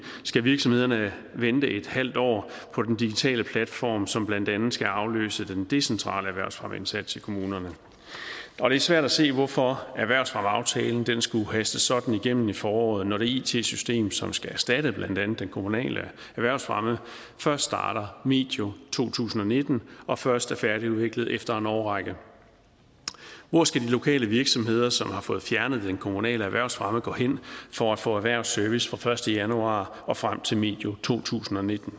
skal virksomhederne vente en halv år på den digitale platform som blandt andet skal afløse den decentrale erhvervsfremmeindsats i kommunerne og det er svært at se hvorfor erhvervsfremmeaftalen skulle hastes sådan igennem i foråret når det it system som skal erstatte den kommunale erhvervsfremme først starter medio to tusind og nitten og først er færdigudviklet efter en årrække hvor skal de lokale virksomheder som har fået fjernet den kommunale erhvervsfremme gå hen for at få erhvervsservice fra den første januar og frem til medio 2019